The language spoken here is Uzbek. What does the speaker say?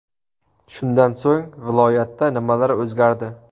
Shundan so‘ng viloyatda nimalar o‘zgardi?.